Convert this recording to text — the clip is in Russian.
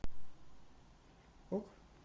ок